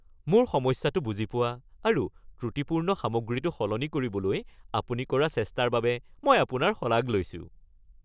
মোৰ সমস্যাটো বুজি পোৱা আৰু ত্ৰুটিপূৰ্ণ সামগ্ৰীটো সলনি কৰিবলৈ আপুনি কৰা চেষ্টাৰ বাবে মই আপোনাৰ শলাগ লৈছোঁ